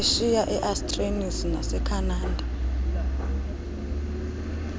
eashiya eaustralisa nasekhanada